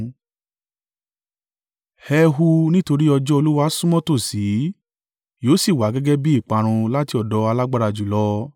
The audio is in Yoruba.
Ẹ hu, nítorí ọjọ́ Olúwa súnmọ́ tòsí, yóò sì wá gẹ́gẹ́ bí ìparun láti ọ̀dọ̀ Alágbára jùlọ.